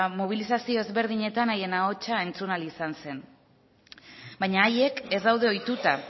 mobilizazio ezberdinetan haien ahotsa entzun ahal izan zen baina haiek ez daude ohituta